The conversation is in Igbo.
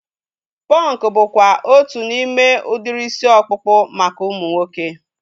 Punk bụkwa otu n'ime udiri isi ọkpụkpụ maka ụmụ nwoke